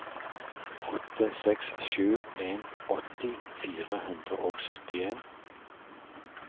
åtte seks sju en åtti fire hundre og syttien